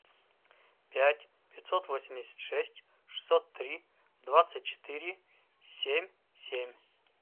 пять пятьсот восемьдесят шесть шестьсот три двадцать четыре семь семь